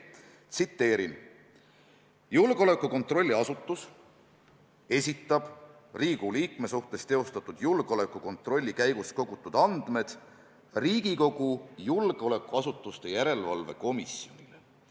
Tsiteerin: "Julgeolekukontrolli asutus esitab Riigikogu liikme suhtes teostatud julgeolekukontrolli käigus kogutud andmed Riigikogu julgeolekuasutuste järelevalve komisjonile [...